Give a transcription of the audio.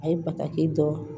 A ye bataki dɔn